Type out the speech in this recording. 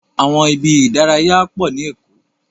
Àwọn ibi ìdárayá pọ ni Èkó.